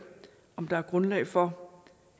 om der er grundlag for